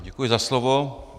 Děkuji za slovo.